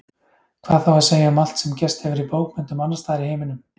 Hvað á þá að segja um allt sem gerst hefur í bókmenntum annarstaðar í heiminum?